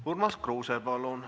Urmas Kruuse, palun!